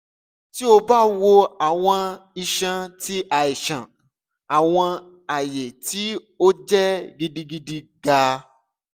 ti o ba wo awọn iṣan ti aisan awọn aye ti o jẹ gidigidi ga